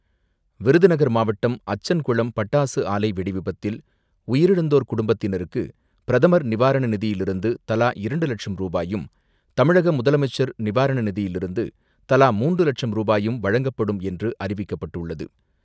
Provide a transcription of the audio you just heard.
விருதுநகர் மாவட்டம், அச்சன்குளம் பட்டாசு ஆலை வெடி விபத்தில் உயிரிழந்தோர் குடும்பத்தினருக்கு பிரதமர் நிவாரண நிதியிலிருந்து தலா இரண்டு லட்சம் ரூபாயும், தமிழக முதலமைச்சர் நிவாரண நிதியிலிருந்து தலா மூன்று லட்சம் ரூபாயும் வழங்கப்படும் என்று அறிவிக்கப்பட்டுள்ளது.